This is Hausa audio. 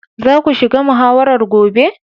Za ku shiga muhawarar gobe.